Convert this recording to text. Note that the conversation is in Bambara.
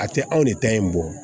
A tɛ anw de ta in bɔ